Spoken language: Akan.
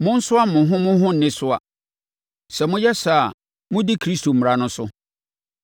Monsoa mo ho mo ho nnesoa. Sɛ moyɛ saa a, modi Kristo mmara no so.